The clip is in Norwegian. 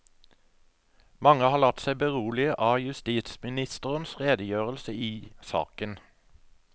Mange har latt seg berolige av justisministerens redegjørelse i saken.